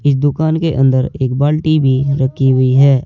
इस दुकान के अंदर एक बाल्टी भी रखी हुई है।